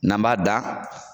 N'an b'a da